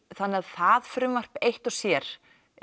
þannig að það frumvarp eitt og sér